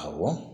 Awɔ